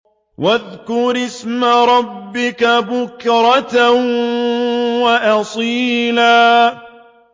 وَاذْكُرِ اسْمَ رَبِّكَ بُكْرَةً وَأَصِيلًا